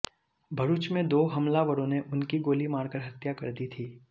भरूच में दो हमलावरों ने उनकी गोली मारकर हत्या कर दी थी